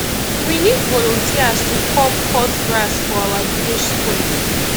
we need volunteers to come cut grass for our village square